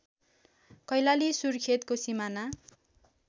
कैलाली सुर्खेतको सिमाना